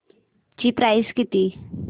ची प्राइस किती